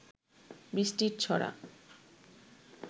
বৃষ্টির ছড়া